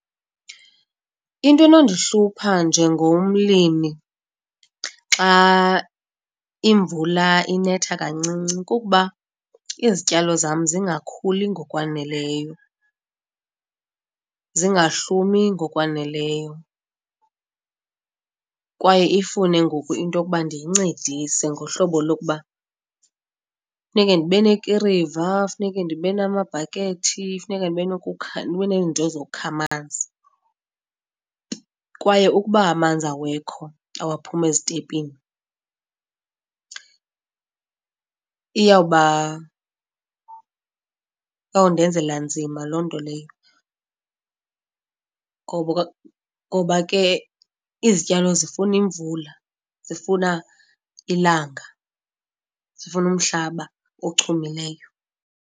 Into enondihlupha njengomlimi xa imvula inetha kancinci kukuba izityalo zam zingakhuli ngokwaneleyo, zingahlumi ngokwaneleyo, kwaye ifune ngoku into yokuba ndiyincedise ngohlobo lokuba funeke ndibe nekiriva, funeke ndibe namabhakethi, funeka ndibe neento zokukha amanzi. Kwaye ukuba amanzi awekho, awaphumi ezitepini iyawuba, iyawundenzela nzima loo nto leyo ngoba ke izityalo zifuna imvula, zifuna ilanga zifuna kumhlaba ochumileyo.